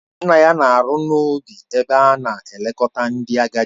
Nna ya na-arụ n'ubi ebe a na-elekọta ndị agadi